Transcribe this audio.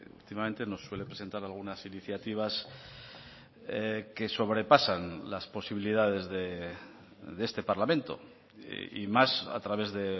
últimamente nos suele presentar algunas iniciativas que sobrepasan las posibilidades de este parlamento y más a través de